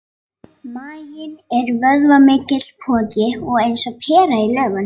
Maginn er vöðvamikill poki og eins og pera í lögun.